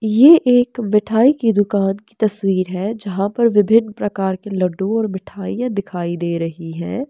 ये एक मिठाई की दुकान की तस्वीर है जहाँ पर विभिन्न प्रकार के लड्डू और मिठाइयाँ दिखाई दे रही हैं।